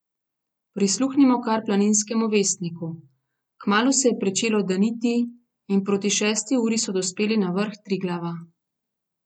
Prisluhnimo kar Planinskemu vestniku: 'Kmalu se je pričelo daniti in proti šesti uri so dospeli na vrh Triglava.